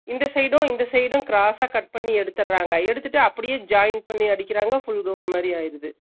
இந்த side உம் இந்த சிடும் cross ச cut பண்ணி எடுத்துர்றாங்க, எடுத்துட்டு அப்பிடியே join பண்ணி அடிக்கிறாங்க chutidar மாதிரி ஆகுது